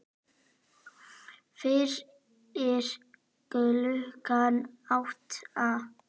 Fyrir klukkan átta?